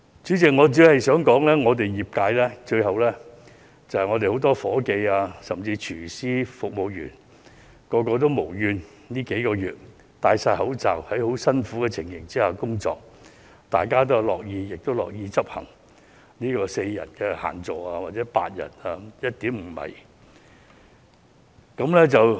主席，我只是想說，業界僱用很多夥計，甚至廚師、服務員，他們這數個月以來全部無怨無悔地佩戴着口罩、在很辛苦的情況下工作；大家均樂意執行限座4人或8人、以及每張餐桌距離 1.5 米的規定。